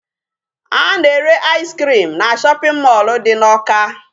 A na-ere ice cream na shopping mall dị n'Awka.